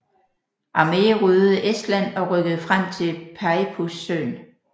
Armee ryddede Estland og rykkede frem til Peipus søen